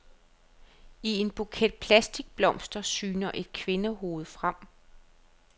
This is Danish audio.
I en buket plastikblomster syner et kvindehoved frem.